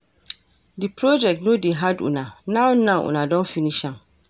De project no dey hard una, now now, una don finish am.